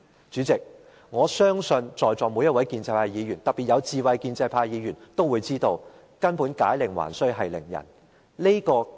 主席，我相信在席每位建制派議員，特別是有智慧的建制派議員，都清楚明白"解鈴還須繫鈴人"。